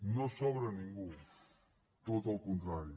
no sobra ningú tot el contrari